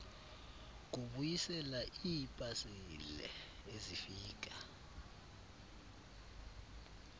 kubuyisela iipasile ezifika